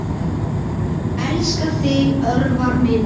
Elska þig, Örvar minn.